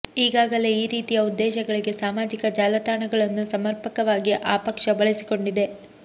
ಈಗಾಗಲೇ ಈ ರೀತಿಯ ಉದ್ದೇಶಗಳಿಗೆ ಸಾಮಾಜಿಕ ಜಾಲ ತಾಣಗಳನ್ನು ಸಮರ್ಪಕವಾಗಿ ಆ ಪಕ್ಷ ಬಳಸಿಕೊಂಡಿದೆ